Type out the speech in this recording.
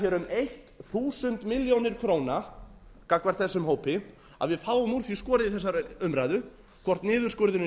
um þúsund milljónir króna gagnvart þessum hópi að við fáum úr því skorið í þessari umræðu hvort niðurskurðurinn